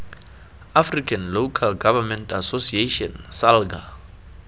african local government association salga